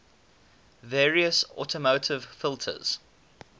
various automotive filters